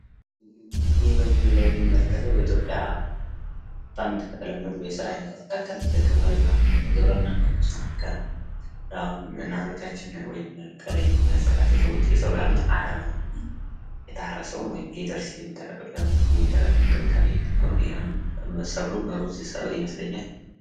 ይህ በምስሉ ላይ የምንመለክተው በኢትዮጵያ በጣም ከተለመዱ የስራ አይነቶች መካከል የግብርና ግብርና ሙከራ ነው። እናቶቻችን ወይም ከላይ የምንመለከታቸው ሰዎች እየሰሩ ያሉት አረም ነው። የታረሰውን ሊደርስ ሲል ሠብሉም ሩዝ ሰብል ይመስለኛል።